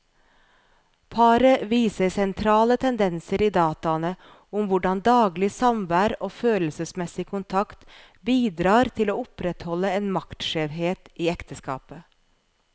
Paret viser sentrale tendenser i dataene om hvordan daglig samvær og følelsesmessig kontakt bidrar til å opprettholde en maktskjevhet i ekteskapet.